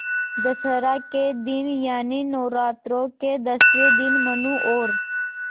दशहरा के दिन यानि नौरात्रों के दसवें दिन मनु और